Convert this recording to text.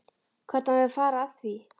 Hvernig á ég að fara að því?